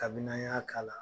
Kabini a' y'a k'a la